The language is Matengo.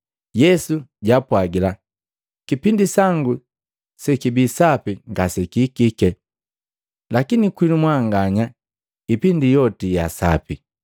Yesu jaapwajila, “Kipindi sangu sekibii sapi ngasekihikike, lakini kwinu mwanganya ipindi yoti ya sapi.